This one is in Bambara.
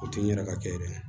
O tɛ n yɛrɛ ka kɛ yɛrɛ ye